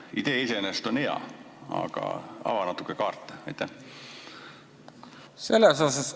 Idee iseenesest on hea, aga ava natuke kaarte!